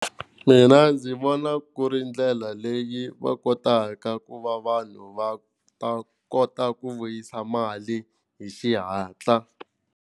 Mina ndzi vona ku ri ndlela leyi va kotaka ku va vanhu va ta kota ku vuyisa mali hi xihatla.